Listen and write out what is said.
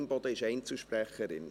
Imboden ist Einzelsprecherin.